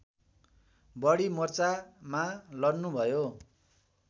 बढी मोर्चामा लड्नुभयो